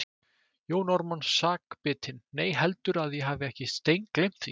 Jón Ármann sakbitinn:- Nei, heldurðu að ég hafi ekki steingleymt því.